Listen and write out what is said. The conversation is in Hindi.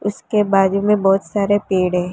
उसके बाजू में बहुत सारे पेड़ है।